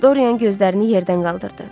Dorian gözlərini yerdən qaldırdı.